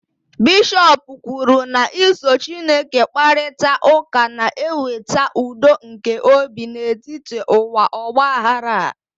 bishọp kwuru na iso Chineke kparịta ụka na-eweta udo nke obi n'etiti ụwa ọgba aghara a